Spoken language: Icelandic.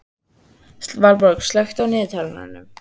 Valborg, slökktu á niðurteljaranum.